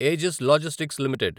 Aegis logistics limited